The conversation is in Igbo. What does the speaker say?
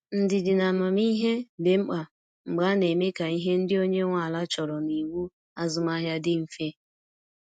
Ndidi na amamihe dị mkpa mgbe a na-eme ka ihe ndị onye nwe ala chọrọ na iwu azụmahịa dị mfe.